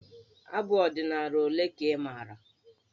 Abụ ọdịnaala ole ka ị maara?